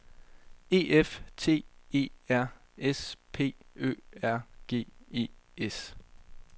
E F T E R S P Ø R G E S